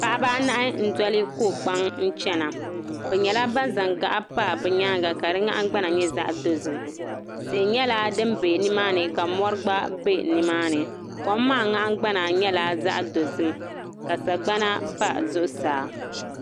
Paɣiba anahi n-doli ko'kpaŋ n-chana bɛ nyɛla ban zaŋ gaɣa pa bɛ nyaaŋa ka di nahingbana nyɛ zaɣ'dozim tihi nyɛla din be nimaani ka mɔri gba be nimaani kom maa nahingbana nyɛla zaɣ'dozim ka sagbana pa zuɣusaa.